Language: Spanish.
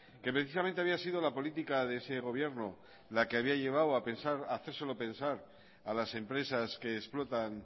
que precisamente había sido la política de ese gobierno la que había llevado a hacérselo pensar a las empresas que explotan